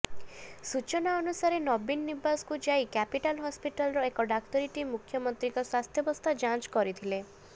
ସୂଚନା ଅନୁସାରେ ନବୀନ ନିବାସକୁ ଯାଇ କ୍ୟାପିଟାଲ ହସ୍ପିଟାଲର ଏକ ଡାକ୍ତରୀ ଟିମ ମୁଖ୍ୟମନ୍ତ୍ରୀଙ୍କ ସ୍ୱାସ୍ଥ୍ୟାବସ୍ଥା ଯାଂଚ କରିଥିଲେ